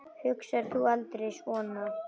Hugsar þú aldrei svona?